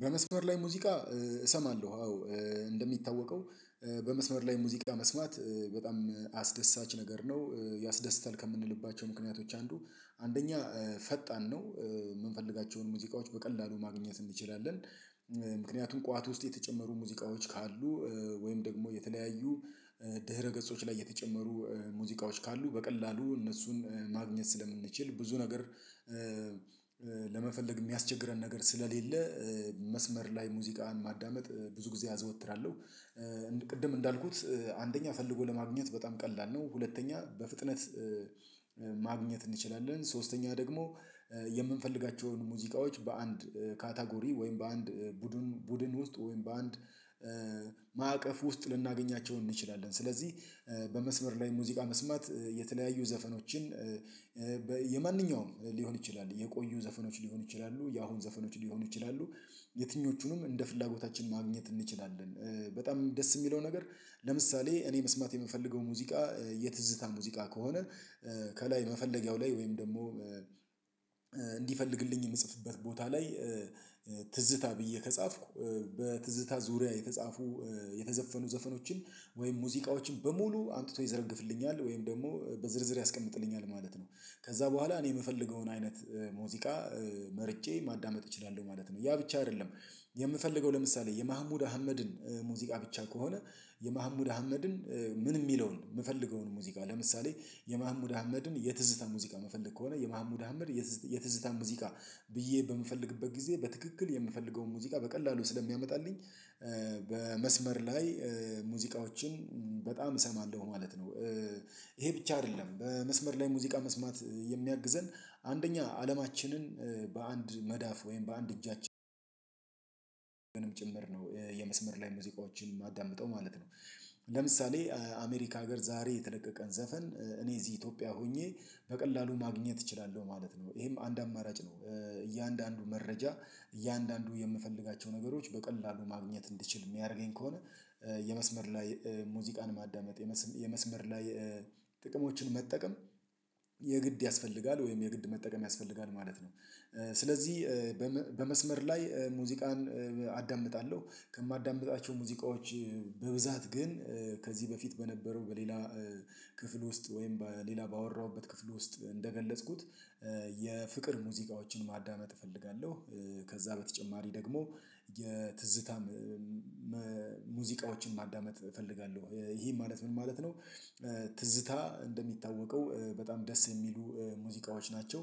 በመስመር ላይ ሙዚቃ እሰማለሁ አዎ። እንደሚታወቀው በመስመር ላይ ሙዚቃ መስማት በጣም አስደሳች ነገር ነው ያስደስታል ከምንልባቸው ምክንያቶች አንዱ አንደኛ ፈጣን ነው የምንፈልጋቸውን ሙዚቃዎች በቀላሉ ማግኘት እንችላለን። ምክንያቱም ቋት ውስጥ የተጨመሩ ሙዚቃዎች ካሉ ወይም ደግሞ የተለያዩ ድህረ ገጾች ላይ የተጨመሩ ሙዚቃዎች ካሉ በቀላሉ እነሱን ማግኘት ስለምንችል ብዙ ነገር ለመፈለግ የሚያስቸግረን ነገር ስለሌለ መስመር ላይ ሙዚቃን ማዳመጥ ብዙ ጊዜ አዘወትራለሁ። ቅድም እንዳልኩት አንደኛ ፈልጎ ለማግኘት በጣም ቀላል ነው ሁለተኛ በፍጥነት ማግኘት እንችላለን ሶስተኛ ደግሞ የምንፈልጋቸውን ሙዚቃዎች በአንድ ካታጎሪ ወይም በአንድ ቡድን ቡድን ውስጥ ወይም በአንድ ውስጥ ልናገኛቸው እንችላለን። ስለዚህ በመስመር ላይ ሙዚቃ መስማት የተለያዩ ዘፈኖችን የማንኛውም ሊሆን ይችላል የቆዩ ዘፈኖች ሊሆኑ ይችላሉ የአሁን ዘፈኖች ሊሆኑ ይችላሉ የትኞቹንም እንደ ፍላጎታችን ማግኘት እንችላለን። በጣም ደስ የሚለው ነገር ለምሳሌ እኔ መስማት የምፈልገው ሙዚቃ የትዝታ ሙዚቃ ከሆነ ከላይ መፈለጊያው ላይ ወይም ደግሞ እንዲፈልግልኝ የምጽፍበት ቦታ ላይ ትዝታ ብዬ ከጻፍኩ በትዝታ ዙሪያ የተጻፉ የተዘፈኑ ዘፈኖችን ወይም ሙዚቃዎችን በሙሉ አምጥቶ ይዘረግፍልኛል ወይም ደግሞ በዝርዝር ያስቀምጥልኛል ማለት ነው። ከዛ በኋላ እኔ የምፈልገውን አይነት ሙዚቃ መርጬ ማዳመጥ እችላለሁ ማለት ነው። ያ ብቻ አይደለም የምፈልገው ለምሳሌ የመሀሙድ አህመድን ሙዚቃ ብቻ ከሆነ የመሀሙድ አህመድን ምን የሚለውን የምፈልገውን ሙዚቃ ለምሳሌ የማህሙድ አህመድን የትዝታ ሙዚቃ ምፈለግ ከሆነ የማህሙድ አህመድ የትዝታ ሙዚቃ ብዬ በምፈልግበት ጊዜ በትክክል የምፈልገውን ሙዚቃ በቀላሉ ስለሚያመጣልኝ በመስመር ላይ ሙዚቃዎችን በጣም እሰማለሁ ማለት ነው። ይሄ ብቻ አይደለም በመስመር ላይ ሙዚቃ መስማት የሚያግዘን አንደኛ አለማችንን በአንድ መዳፍ ወይም በአንድ እጃችን ጭምር ነው የመስመር ላይ ሙዚቃዎችን የማዳምጠው ማለት ነው። ለምሳሌ አሜሪካ ሀገር ዛሬ የተለቀቀን ዘፈን እኔ እዚህ ኢትዮጵያ ሆኜ በቀላሉ ማግኘት እችላለሁ ማለት ነው ይሄም አንድ አማራጭ ነው እያንዳንዱ መረጃ እያንዳንዱ የምፈልጋቸው ነገሮች በቀላሉ ማግኘት እንድችል የሚያደርገኝ ከሆነ የመስመር ላይ ሙዚቃን ማዳመጥ የመስመር ላይ ጥቅሞችን መጠቀም የግድ ያስፈልጋል ወይም የግድ መጠቀም ያስፈልጋል ማለት ነው። ስለዚህ በመስመር ላይ ሙዚቃን አዳምጣለሁ ከማዳምጣቸው ሙዚቃዎች በብዛት ግን ከዚህ በፊት በነበረው በሌላ ክፍል ውስጥ ወይም በሌላ ባወራሁበት ክፍል ውስጥ እንደገለጽኩት የፍቅር ሙዚቃዎችን ማዳመጥ እፈልጋለሁ። ከዛ በተጨማሪ ደግሞ የትዝታም ሙዚቃዎችን ማዳመጥ እፈልጋለሁ ይህም ማለት ምን ማለት ነው? ትዝታ እንደሚታወቀው በጣም ደስ የሚሉ ሙዚቃዎች ናቸው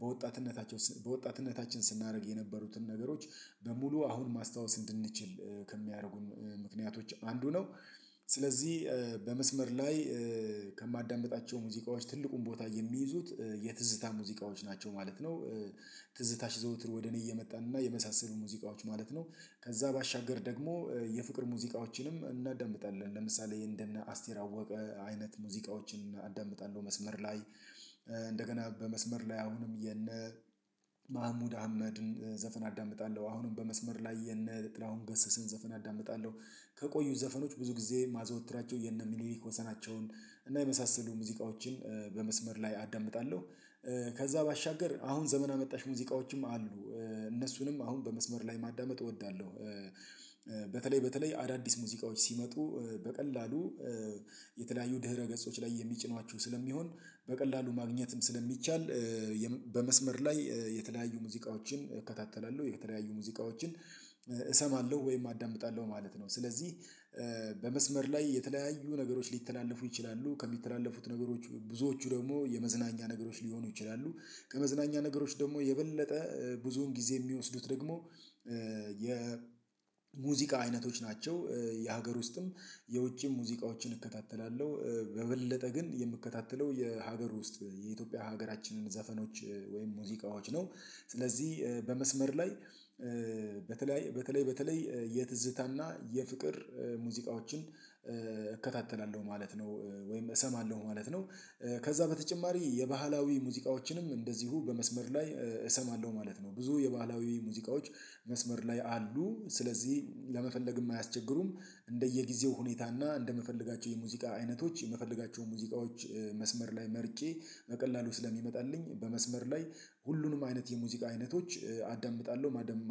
በወጣትነታቸው በወጣትነታችን ስናደርግ የነበሩትን ነገሮች በሙሉ አሁን ማስታወስ እንድንችል ከሚያደርጉን ምክንያቶች አንዱ ነው ስለዚህ በመስመር ላይ ከማዳምጣቸው ሙዚቃዎች ትልቁን ቦታ የሚይዙት የትዝታ ሙዚቃዎች ናቸው ማለት ነው። ትዝታሽ ዘውትር ወደ እኔ እየመጣን እና የመሳሰሉ ሙዚቃዎች ማለት ነው ከዛ ባሻገር ደግሞ የፍቅር ሙዚቃዎችንም እናዳምጣለን ለምሳሌ እንደነ አስቴር አወቀ አይነት ሙዚቃዎችን እዳምጣለሁ መስመር ላይ እንደገና በመስመር ላይ አሁንም የነ መሃሙድ አህመድን ዘፈን አዳምጣለሁ አሁንም በመስመር ላይ የነ ጥላሁን ገስስን ዘፈን አዳምጣለሁ። ከቆዩት ዘፈኖች ብዙ ጊዜ ማዘወትራቸው የነ ሚኒሊክ ወሰናቸውን እና የመሳሰሉ ሙዚቃዎችን በመስመር ላይ አዳምጣለሁ ከዛ ባሻገር አሁን ዘመን አመጣሽ ሙዚቃዎችም አሉ እነሱንም አሁን በመስመር ላይ ማዳመጥ እወዳለሁ። በተለይ በተለይ አዳዲስ ሙዚቃዎች ሲመጡ በቀላሉ የተለያዩ ድህረ ገጾች ላይ የሚጭኗቸው ስለሚሆን በቀላሉ ማግኘትም ስለሚቻል በመስመር ላይ የተለያዩ ሙዚቃዎችን እከታተላለሁ የተለያዩ ሙዚቃዎችን እሰማለሁ ወይም አዳምጣለሁ ማለት ነው። ስለዚህ በመስመር ላይ የተለያዩ ነገሮች ሊተላለፉ ይችላሉ ከሚተላለፉት ነገሮች ብዙዎቹ ደግሞ የመዝናኛ ነገሮች ሊሆኑ ይችላሉ ከመዝናኛ ነገሮች ደግሞ የበለጠ ብዙውን ጊዜ የሚወስዱት ደግሞ የሙዚቃ አይነቶች ናቸው። የሀገር ውስጥም የውጪም ሙዚቃዎችን እከታተላለሁ በበለጠ ግን የምከታተለው የሀገር ውስጥ የኢትዮጵያ ሀገራችንን ዘፈኖች ወይም ሙዚቃዎች ነው። ስለዚህ በመስመር ላይ በተለይ በተለይ በተለይ የትዝታና የፍቅር ሙዚቃዎችን እከታተላለሁ ማለት ነው። ወይም እሰማለሁ ማለት ነው ከዛ በተጨማሪ የባህላዊ ሙዚቃዎችንም እንደዚሁ በመስመር ላይ እሰማለሁ ማለት ነው። ብዙ የባህላዊ ሙዚቃዎች መስመር ላይ አሉ ስለዚህ ለመፈለግም አያስቸግሩም እንደየጊዜው ሁኔታና እንደምፈልጋቸው የሙዚቃ አይነቶች የምፈልጋቸው ሙዚቃዎች መስመር ላይ መርጬ በቀላሉ ስለሚመጣልኝ በመስመር ላይ ሁሉንም አይነት የሙዚቃ አይነቶች አዳምጣለሁ ማደም